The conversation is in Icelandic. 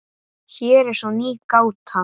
Hér er svo ný gáta.